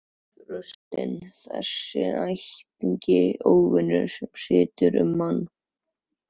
Þorstinn, þessi ægilegi óvinur sem situr um mann.